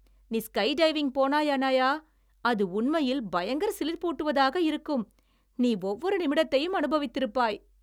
நீ ஸ்கைடைவிங் போனாய், அணாயா! அது உண்மையில் பயங்கர சிலிர்ப்பூட்டுவதாக இருக்கும், நீ ஒவ்வொரு நிமிடத்தையும் அனுபவித்திருப்பாய்.